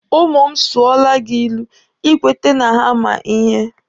Ụmụ m sụọla gị ilu, Ị kwete na ha ma ihe.